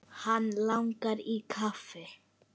Hann langar í kaffi.